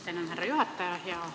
Tänan, härra juhataja!